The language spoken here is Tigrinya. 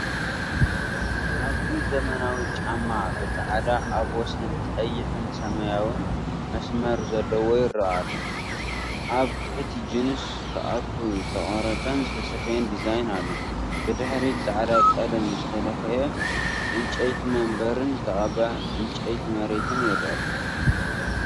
ኣብዚ ዘመናዊ ጫማ ብጻዕዳ ኣብ ወሰን ቀይሕን ሰማያውን መስመር ዘለዎ ይረአ ኣሎ። ኣብ ትሕቲ ጂንስ ክኣቱ ዝተቖርጸን ዝተሰፍየን ዲዛይን ኣሎ። ብድሕሪት ጻዕዳ ቀለም ዝተለኽየ ዕንጨይቲ መንበርን ዝተቐብአ ዕንጨይቲ መሬትን ይርአ።